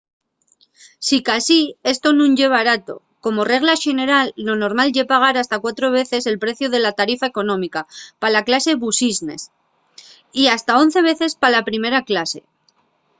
sicasí esto nun ye barato. como regla xeneral lo normal ye pagar hasta cuatro veces el preciu de la tarifa económica pa la clase business ¡y hasta 11 veces pa la primera clase!